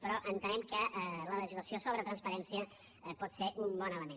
però entenem que la legislació sobre transparència pot ser un bon element